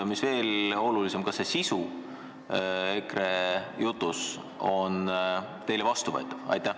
Ja mis veel olulisem: kas see EKRE jutu sisu on teile vastuvõetav?